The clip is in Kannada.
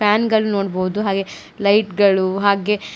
ಫ್ಯಾನ್ ಗಳ್ ನೋಡ್ಬೋದು ಹಾಗೆ ಲೈಟ್ ಗಳು ಹಾಗೆ--